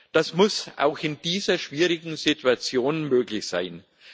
Das muss auch in dieser schwierigen Situation möglich sein.